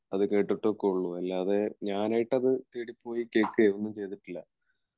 അത് കേട്ടിട്ടൊക്കെയുള്ളൂ അല്ലാതെ ഞാനായിട്ട് അത് തേടിപ്പോയി കേൾക്കെ ഒന്നും ചെയ്തിട്ടില്ല